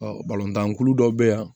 tan kulu dɔw bɛ yan